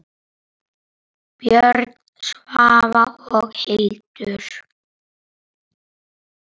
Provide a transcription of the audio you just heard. Björn, Svava og Hildur.